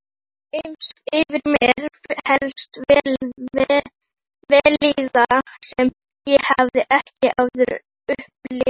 Yfir mig helltist vellíðan sem ég hafði ekki áður upplifað.